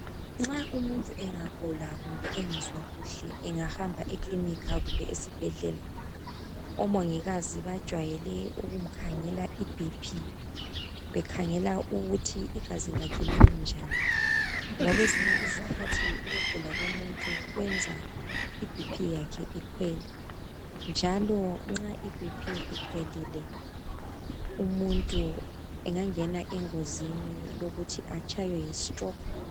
nxa umuntu engagula engezwa kuhle engahamba ekilinika kumbe esibhedlela omongikazi bajwayele ukumkhangela i BP bekhangela ukuthi igazi lakhe limi njani ngekwezinye izikhathi ukugula komuntu kwenza i BP yakhe ikhwele njalo nxa i BP ikhwelile umuntu engangena engozini yokuthi atshaywe yi stroke